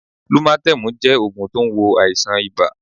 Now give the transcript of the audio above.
Lúmátémù jẹ́ ògùn tó n wo àìsàn ibà